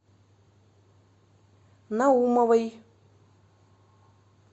наумовой